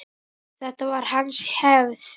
Þetta var hans hefð.